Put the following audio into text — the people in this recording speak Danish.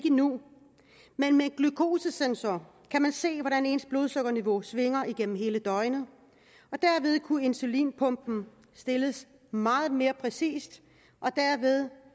endnu men med en glukosesensor kan man se hvordan ens blodsukkerniveau svinger igennem hele døgnet og dermed kunne insulinpumpen stilles meget mere præcist og derved